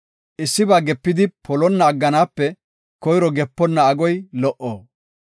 Issiba gepidi polonna agganaape koyro geponna agoy lo77o.